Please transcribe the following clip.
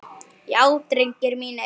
Já drengir mínir.